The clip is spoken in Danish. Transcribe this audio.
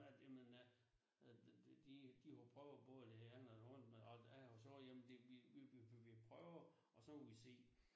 At jamen at det det de har jo prøvet både det andet og andet men alt ja og så jamen de vi vi vi vi prøver og så må vi se